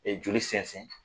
Ɛ joli sɛnsɛn